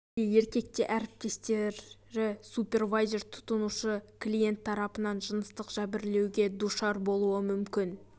әйел де еркек те әріптестері супервайзер тұтынушы клиент тарапынан жыныстық жәбірлеуге душар болуы мүмкін